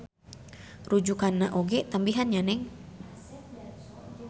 Rujukanna oge tambihan nya Neng.